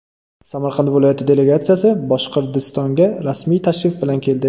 Samarqand viloyati delegatsiyasi Boshqirdistonga rasmiy tashrif bilan keldi.